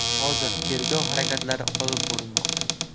Hozir tergov harakatlari olib borilmoqda.